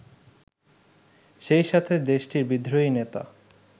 সেইসাথে দেশটির বিদ্রোহী নেতা